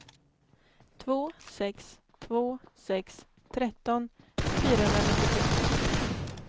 två sex två sex tretton fyrahundranittiotre